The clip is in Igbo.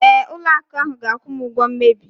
Ee, ụlọ akụ ahu ga-akwụ m ụgwọ mmebi.